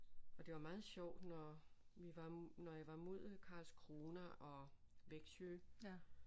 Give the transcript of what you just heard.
Og det var meget sjovt når vi var når jeg var mod Karlskrona og Växjö